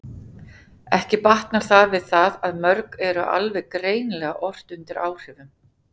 Ekki batnar það við það að mörg eru alveg greinilega ort undir áhrifum.